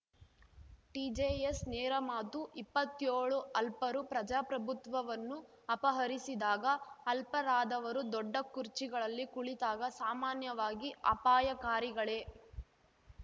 TJS ನೇರಮಾತು ಇಪ್ಪತ್ಯೋಳು ಅಲ್ಪರು ಪ್ರಜಾಪ್ರಭುತ್ವವನ್ನು ಅಪಹರಿಸಿದಾಗ ಅಲ್ಪರಾದವರು ದೊಡ್ಡ ಕುರ್ಚಿಗಳಲ್ಲಿ ಕುಳಿತಾಗ ಸಾಮಾನ್ಯವಾಗಿ ಅಪಾಯಕಾರಿಗಳೇ